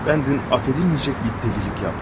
Mən dünən affedilməyəcək bir dəlilik etdim.